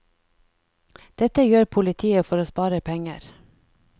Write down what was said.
Dette gjør politiet for å spare penger.